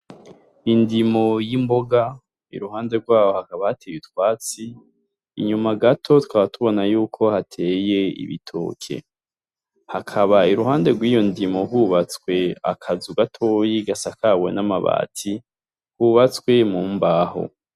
Indimo y'imboga iruhande rwaho hakaba hateye utwatsi, inyuma gato tukaba tubona yuko hateye ibitoke, hakaba irahande rwiyo ndimo hubatswe akazu gatoyi gasakawe namabati kubatswe mumbaho.